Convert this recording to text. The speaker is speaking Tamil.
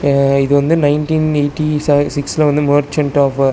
இது வந்து நைன்டின் எய்டி ச சிக்ஸ்ல வந்த மெர்ச்சென்ட் ஆஃபர் .